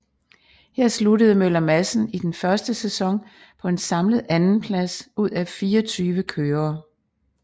Her sluttede Møller Madsen i den første sæson på en samlet andenplads ud af 24 kørere